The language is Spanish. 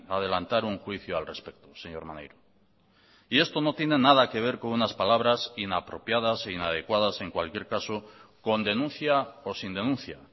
adelantar un juicio al respecto señor maneiro y esto no tiene nada que ver con unas palabras inapropiadas e inadecuadas en cualquier caso con denuncia o sin denuncia